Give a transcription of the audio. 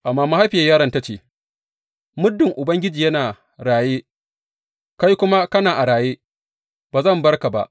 Amma mahaifiyar yaron ta ce, Muddin Ubangiji yana raye, kai kuma kana a raye, ba zan bar ka ba.